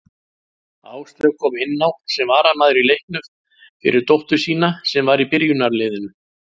Áslaug kom inná sem varamaður í leiknum fyrir dóttur sína sem var í byrjunarliðinu.